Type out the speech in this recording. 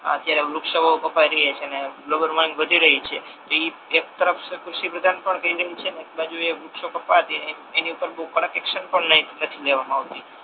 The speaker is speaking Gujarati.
અત્યારે વૃક્ષો કપાઈ રહ્યા છે ને ગ્લોબલ માંગ વધી રહી છે તો એક બાજુ કૃષિપ્રધાન પર કહી રહી છે અને એક બાજુ વૃક્ષો કપાત પર એની પર બહુ કડક એક્શન પણ નથી લેવાતુ